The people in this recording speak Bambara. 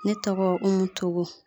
Ne tɔgɔ Umu Togo.